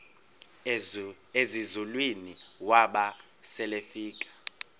ezinzulwini waba selefika